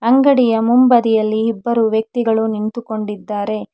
ಅಂಗಡಿಯ ಮೊಂಬದಿಯಲ್ಲಿ ಇಬ್ಬರು ವ್ಯಕ್ತಿಗಳು ನಿಂತುಕೊಂಡಿದ್ದಾರೆ.